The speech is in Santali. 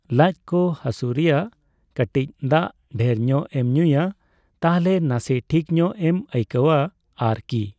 ᱞᱟᱡ ᱠᱚ ᱦᱟᱹᱥᱩ ᱨᱮᱭᱟᱜ ᱠᱟᱴᱤᱪ ᱫᱟᱜ ᱰᱷᱮᱨ ᱧᱚᱜ ᱮᱢ ᱧᱩᱭᱟ ᱛᱟᱦᱞᱮ ᱱᱟᱥᱮ ᱴᱷᱤᱠ ᱧᱚᱜ ᱮᱢ ᱟᱹᱭᱠᱟᱹᱣᱟ ᱟᱨᱠᱤ ᱾